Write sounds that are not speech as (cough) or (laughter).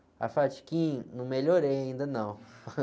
Aí eu falei, (unintelligible) não melhorei ainda, não.